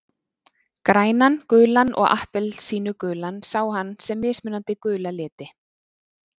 Grænan, gulan og appelsínugulan sá hann sem mismunandi gula liti.